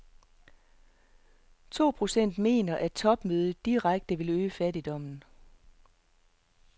To procent mener, at topmødet direkte vil øge fattigdommen.